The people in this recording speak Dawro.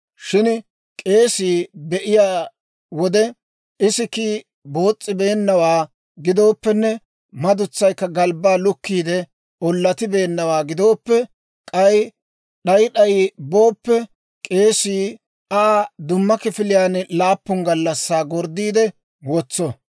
Shin k'eesii be'iyaa wode, isikkii boos's'ibeennawaa gidooppenne madutsaykka galbbaa lukkiide ollatibeennawaa gidooppe, k'ay d'ay d'ay booppe, k'eesii Aa dumma kifiliyaan laappun gallassaa gorddiide wotso.